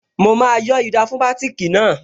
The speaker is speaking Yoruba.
Mo máa yọ́ ida fún bátìkì náà